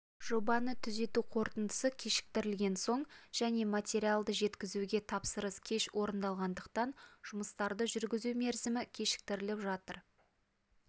жобаны түзету қорытындысы кешіктірілген соң және материалды жеткізуге тапсырыс кеш орналастырылғандықтан жұмыстарды жүргізу мерзімі кешіктіріліп жатыр